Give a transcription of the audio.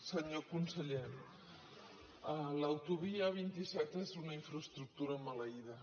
senyor conseller l’autovia a·vint set és una infraestructura maleïda